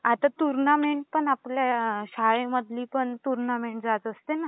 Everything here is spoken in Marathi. आता टूर्नामेंट पण आपल्या शाळेमधली पण टूर्नामेंट जात असते ना